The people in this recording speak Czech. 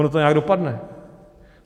Ono to nějak dopadne.